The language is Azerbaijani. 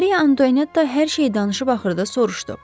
Maria Antoynetta hər şey danışıb axırda soruşdu.